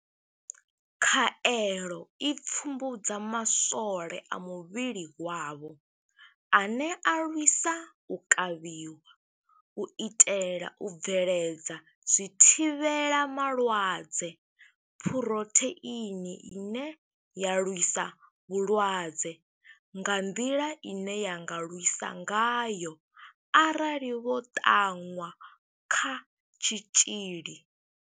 Khaelo i pfumbudza maswole a muvhili wavho ane a lwisa u kavhiwa, u itela u bveledza zwithivhela malwadze, phurotheini ine ya lwisa vhulwadze, nga nḓila ine ya nga lwisa ngayo arali vho ṱanwa kha tshitzhili.